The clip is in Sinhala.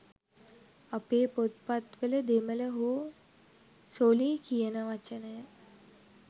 අපේ පොත්පත්වල දෙමළ හෝ සොළී කියන වචනය